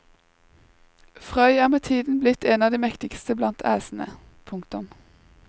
Frøy er med tiden blitt en av de mektigste blant æsene. punktum